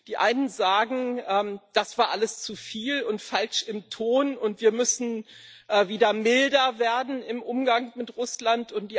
Die einen sagen Das war alles zu viel und falsch im Ton, und wir müssen wieder milder werden im Umgang mit Russland.